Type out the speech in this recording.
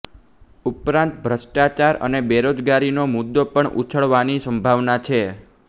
ઉપરાંત ભ્રષ્ટાચાર અને બેરોજગારીનો મુદો પણ ઉછળવાની સંભાવના છે